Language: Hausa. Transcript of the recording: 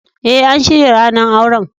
Eh, an shirya ranan auren.